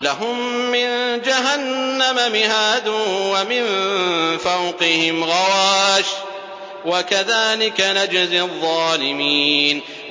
لَهُم مِّن جَهَنَّمَ مِهَادٌ وَمِن فَوْقِهِمْ غَوَاشٍ ۚ وَكَذَٰلِكَ نَجْزِي الظَّالِمِينَ